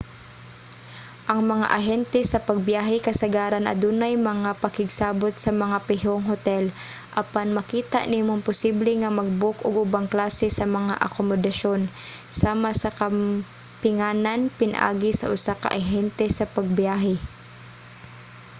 ang mga ahente sa pagbiyahe kasagaran adunay mga pakigsabot sa mga pihong hotel apan makita nimong posible nga mag-book og ubang klase sa mga akomodasyon sama sa kampinganan pinaagi sa usa ka ahente sa pagbiyahe